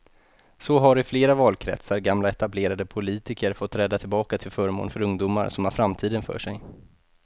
Så har i flera valkretsar gamla etablerade politiker fått träda tillbaka till förmån för ungdomar som har framtiden för sig.